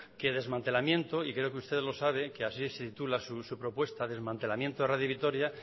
que desmantelamiento y creo que ustedes lo saben que así se titula su propuesta desmantelamiento de radio vitoria